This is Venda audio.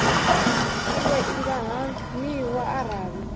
iwe i nga haniwa arali